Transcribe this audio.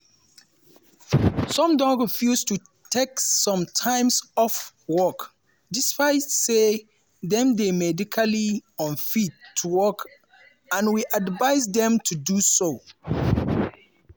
“some don refuse to take some time off work despite say dem dey medically unfit to work and we advise dem to do so.